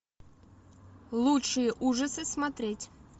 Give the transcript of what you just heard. лучшие ужасы смотреть